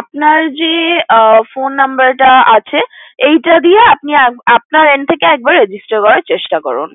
আপনার যে Phone Number টা আছে এইটা দিয়ে আপনার এন্ড থেকে একবার Register করার চেষ্টা করেন